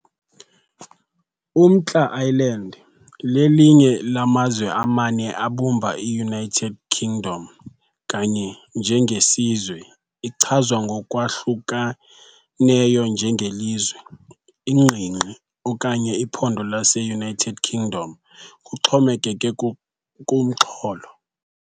UMntla Ireland lelinye lamazwe amane abumba iUnited Kingdom . Kanye njengesizwe, ichazwa ngokwahlukeneyo njengelizwe, ingingqi okanye iphondo lase-United Kingdom, kuxhomekeke kumxholo.